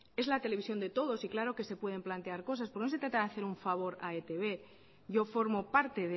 es la televisión de todo y claro que se pueden plantear cosas pero no se trata de hacer un favor a e i te be yo formo parte